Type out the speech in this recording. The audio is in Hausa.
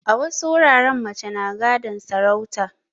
A wasu wuraren mace na gadon sarauta